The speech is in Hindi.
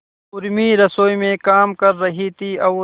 उर्मी रसोई में काम कर रही थी और